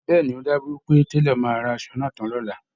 Bẹ́ẹ̀ ni, ó dájú pé Télọ̀ máa rán asọ náà tán lọ́la